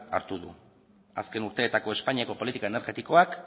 hartu du azken urteetako espainiako politika energetikoak